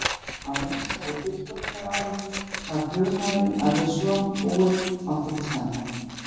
Af einskærri fullkomnunaráráttu sá flugmaðurinn að við svo búið mátti ekki standa.